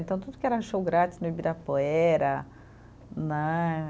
Então, tudo que era show grátis no Ibirapuera, né?